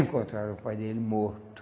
Encontraram o pai dele morto.